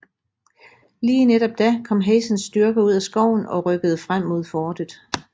Lige netop da kom Hazens styrker ud af skoven og rykkede frem mod fortet